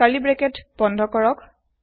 curly bracket বন্ধ কৰক